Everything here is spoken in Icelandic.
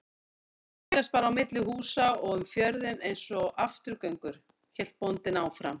Þeir þvælast bara á milli húsa og um fjörðinn einsog afturgöngur, hélt bóndinn áfram.